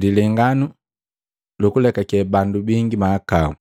Lilenganu lukulekake bandu bangi mahakau